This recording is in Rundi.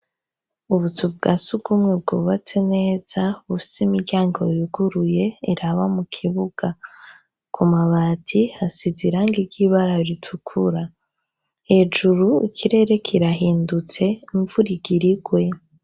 Ubuzu bwa sugumwe bwubatse neza, bufise imiryango yuguruye iraba mu kibuga. Ku mabati hasize irangi ry'ibara ritukura, hejuru ikirere kirahindutse imvura igira igwe.